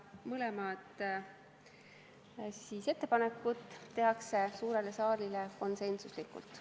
Mõlemad ettepanekud tehakse suurele saalile konsensuslikult.